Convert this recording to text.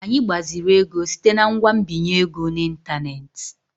Anyị gbaziri ego site na ngwa nbinye ego n'ịntanetị.